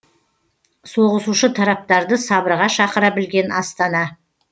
соғысушы тараптарды сабырға шақыра білген астана